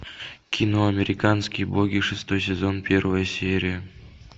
кино американские боги шестой сезон первая серия